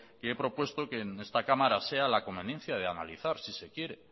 que he propuesta que en esta cámara sea la conveniencia de analizar si se quiere